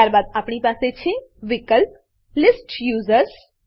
ત્યારબાદ આપણી પાસે છે વિકલ્પ લિસ્ટ યુઝર્સ લીસ્ટ યુઝર્સ